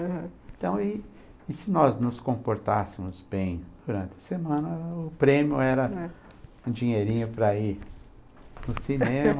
Então e, e se nós nos comportássemos bem durante a semana, o prêmio era um dinheirinho para ir no cinema